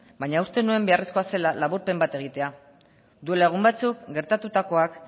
baina uste nuen beharrezkoa zela laburpen bat egitea duela egun batzuk gertatutakoak